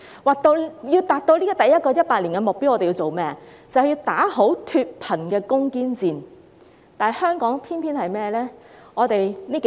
若要達到第一個100年的目標，我們要打好脫貧攻堅戰，但香港偏偏是怎樣呢？